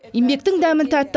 еңбектің дәмі тәтті